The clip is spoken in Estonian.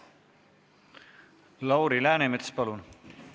Lauri Läänemets, palun!